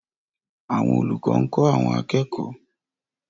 Àwọn olùkọ́ ń kọ́ àwọn akẹ́kọ̀ọ́